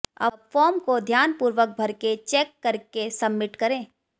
अब फॉर्म को ध्यान पूर्वक भरके चेक करके सबमिट करें